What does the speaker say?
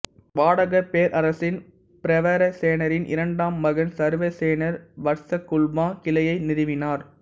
வாடாகப் பேரரசின் பிரவரசேனரின் இரண்டாம் மகன் சர்வசேனர் வட்சகுல்மா கிளையை நிறுவினார்